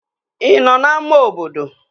Ị nọ n'ámá obodo?